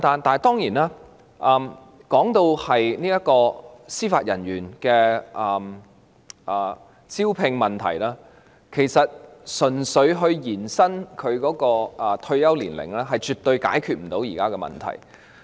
當然，談到司法人員的招聘問題，純粹延展退休年齡是絕對無法解決目前的問題的。